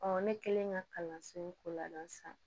ne kelen ka kalanso in ko labɛn sisan